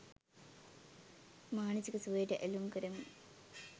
මානසික සුවයට ඇලුම් කරමින්